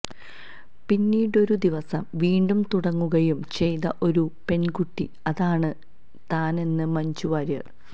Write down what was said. പിന്നീടൊരുദിവസം വീണ്ടും തുടങ്ങുകയും ചെയ്ത ഒരു പെണ്കുട്ടി അതാണ് താനെന്ന് മഞ്ജു വാര്യർ